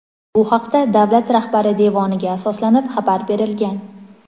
Bu haqda davlat rahbari devoniga asoslanib xabar berilgan.